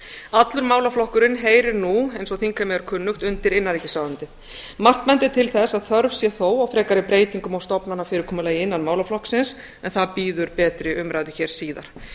allur málaflokkurinn heyrir nú eins og þingheimi er kunnugt undir innanríkisráðuneytið margt bendir til þess að þörf sé þó á frekari breytingum á stofnana fyrirkomulagi innan málaflokksins en það bíður betri umræðu hér síðar